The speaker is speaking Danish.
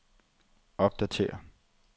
opdatér